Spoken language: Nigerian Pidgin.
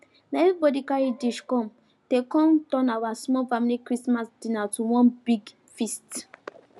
na everybody carry dish come they con turn our small family christmas dinner to one big feast